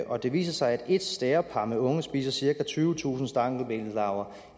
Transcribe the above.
og det viser sig at et stærepar med unger spiser cirka tyvetusind stankelbenslarver